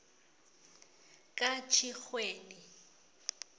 katjhirhweni